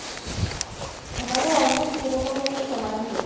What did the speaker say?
আমারও almost সেরকমই একটা সময় থেকে